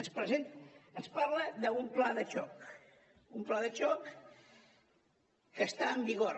ens parla d’un pla de xoc un pla de xoc que està en vigor